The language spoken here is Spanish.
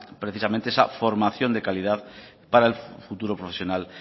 precisamente esa formación de calidad para el futuro profesional